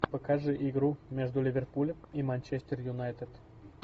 покажи игру между ливерпулем и манчестер юнайтед